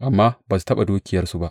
Amma ba su taɓa dukiyarsu ba.